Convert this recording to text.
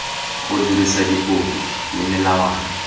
go dirisa dipopi le melawana